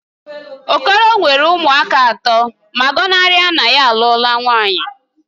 Okoro nwere ụmụaka atọ ma gọnarị na ya alụọla nwaanyị